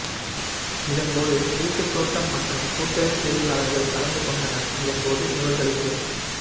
இதன் போது வீட்டுத்தோட்டம் மற்றும் கூட்டேறு செய்கையாளர்கள் கலந்து கொண்டனர் இதன் போது இவர்களுக்கு